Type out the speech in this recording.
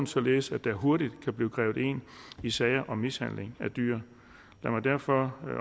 således at der hurtigt kan blive grebet ind i sager om mishandling af dyr lad mig derfor